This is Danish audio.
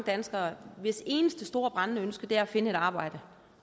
danskere hvis eneste store brændende ønske er at finde et arbejde